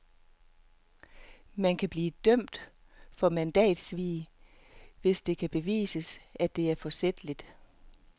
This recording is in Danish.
Man kan kun blive dømt for mandatsvig, hvis det kan bevises, at det var forsætligt.